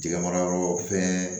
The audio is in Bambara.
Jɛgɛ mara yɔrɔ fɛn